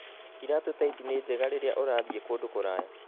Iratũ ta ici ni njega rĩrĩa ũrathiĩ kũndũ kũraya.